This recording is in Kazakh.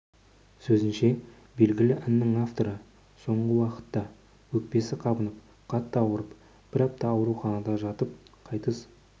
сөзінше белгілі әннің авторы соңғы уақытта өкпесі қабынып қатты ауырып бір апта ауруханада жатып қайтыс